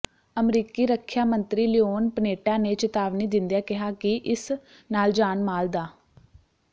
ਅਮਰੀਕੀ ਰੱਖਿਆ ਮੰਤਰੀ ਲਿਓਨ ਪਨੇਟਾ ਨੇ ਚਿਤਾਵਨੀ ਦਿੰਦਿਆਂ ਕਿਹਾ ਕਿ ਇਸ ਨਾਲ ਜਾਨ ਮਾਲ ਦ